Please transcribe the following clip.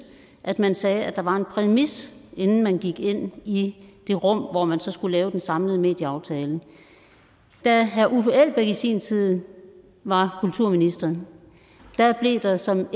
at man sagde at der var en præmis inden man gik ind i det rum hvor man skulle lave den samlede medieaftale da herre uffe elbæk i sin tid var kulturminister blev der som